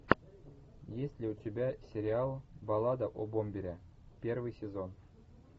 есть ли у тебя сериал баллада о бомбере первый сезон